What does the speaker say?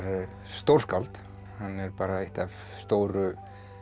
stórskáld hann er bara eitt af stóru